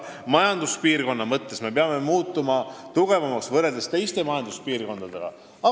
Nagu ma ütlesin, me peame ka majanduspiirkonnana võrreldes teiste majanduspiirkondadega tugevamaks muutuma.